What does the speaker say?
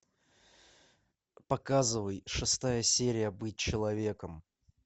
показывай шестая серия быть человеком